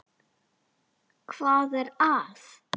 Hvað er að?